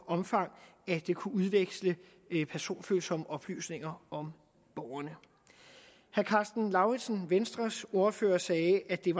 omfang at kunne udveksle personfølsomme oplysninger om borgerne herre karsten lauritzen venstres ordfører sagde at det er